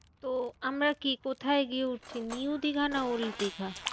তো আমরা কি কোথায় গিয়ে উঠছি? নিউ দিঘা না ওল্ড দিঘা?